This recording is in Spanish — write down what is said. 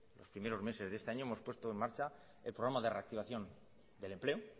los primeros meses de este año hemos puesto en marcha el programa de reactivación del empleo